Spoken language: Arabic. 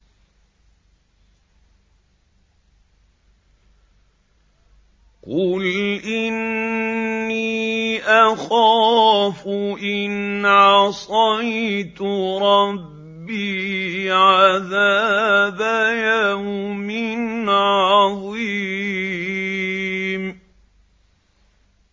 قُلْ إِنِّي أَخَافُ إِنْ عَصَيْتُ رَبِّي عَذَابَ يَوْمٍ عَظِيمٍ